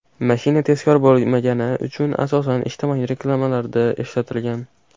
Mashina tezkor bo‘lmagani uchun asosan ijtimoiy reklamalarda ishlatilgan.